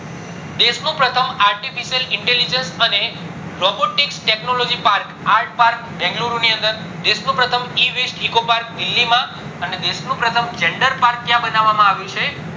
દેશ નું પ્રથમ artificial intelligence અને robotics technology art park Bengaluru નું અંદર દેશ નું પ્રથમ E waste eco park Delhi માં અને દેશ નું પ્રથમ gender park ક્યાં બનાવામાં આવ્યું છે